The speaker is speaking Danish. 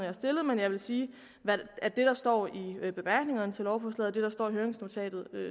har stillet men jeg vil sige at det der står i bemærkningerne til lovforslaget og står i høringsnotatet